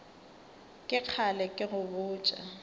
ke kgale ke go botša